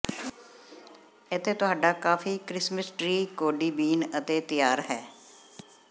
ਇੱਥੇ ਤੁਹਾਡਾ ਕਾਫੀ ਕ੍ਰਿਸਮਸ ਟ੍ਰੀ ਕੌਫੀ ਬੀਨ ਅਤੇ ਤਿਆਰ ਹੈ